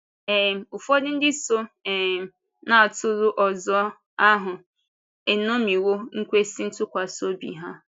um Ụfọdụ ndị so um ‘n’atụrụ ọzọ’ ahụ eṅomiwo ekwésị ntụkwasị obi ha.